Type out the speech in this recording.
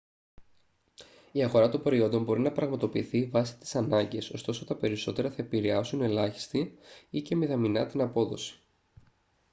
η αγορά των προϊόντων μπορει να πραγματοποιηθεί βάση τις ανάγκες ωστόσο τα περισσότερα θα επηρρεάσουν ελάχιστή ή και μηδαμηνά την απόδοση